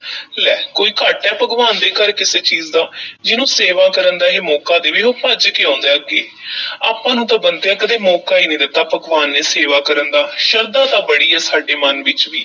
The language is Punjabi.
ਲੈ ਕੋਈ ਘਾਟਾ ਏ ਭਗਵਾਨ ਦੇ ਘਰ ਕਿਸੇ ਚੀਜ਼ ਦਾ ਜਿਹਨੂੰ ਸੇਵਾ ਕਰਨ ਦਾ ਇਹ ਮੌਕਾ ਦੇਵੇ, ਉਹ ਭੱਜ ਕੇ ਆਉਂਦਾ ਐ ਅੱਗੇ ਆਪਾਂ ਨੂੰ ਤਾਂ ਬੰਤਿਆ ਕਦੇ ਮੌਕਾ ਈ ਨਹੀਂ ਦਿੱਤਾ ਭਗਵਾਨ ਨੇ ਸੇਵਾ ਕਰਨ ਦਾ, ਸ਼ਰਧਾ ਤਾਂ ਬੜੀ ਐ ਸਾਡੇ ਮਨ ਵਿੱਚ ਵੀ।